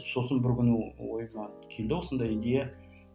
сосын бір күні ойыма келді осындай идея